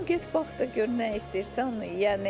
Deyirəm get bax da gör nə istəyirsən onu ye.